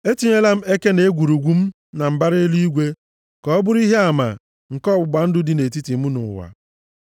Etinyela m eke na egwurugwu m na mbara eluigwe, ka ọ bụrụ ihe ama nke ọgbụgba ndụ dị nʼetiti mụ na ụwa.